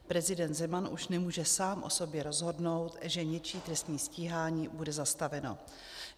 Prezident Zeman už nemůže sám o sobě rozhodnout, že něčí trestní stíhání bude zastaveno.